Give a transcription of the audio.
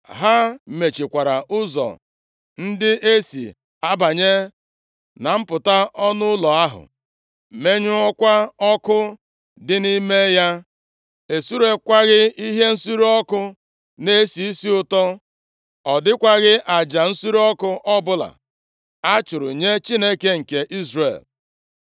Ha mechikwara ụzọ ndị e si abanye na mpụta ọnụ ụlọ ahụ, menyụọkwa ọkụ dị nʼime ya. E sureekwaghị ihe nsure ọkụ na-esi isi ụtọ, ọ dịkwaghị aja nsure ọkụ ọbụla a chụrụ nye Chineke nke Izrel.